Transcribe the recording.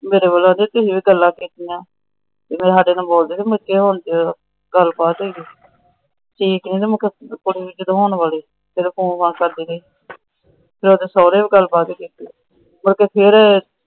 ਮੇਰੇ ਕੋਲ ਆ ਕੇ ਕਿੰਨੀਆਂ ਗੱਲਾਂ ਕੀਤੀਆਂ। ਜਦੋ ਸਾਡੇ ਨਾਲ ਬੋਲਦੀ ਨਹੀਂ ਸੀ। ਗੱਲਬਾਤ ਹੇਗੀ ਉਹਦੇ ਸੋਹਰੇ ਵੀ ਗੱਲਬਾਤ ਕੀਤੀ। ਮੁੜ ਕੇ ਫੇਰ